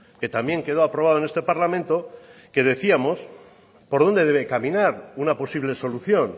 que también quedó aprobado en este parlamento que decíamos por dónde debe caminar una posible solución